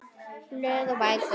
Blöð og bækur